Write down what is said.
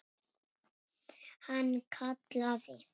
Hann kallaði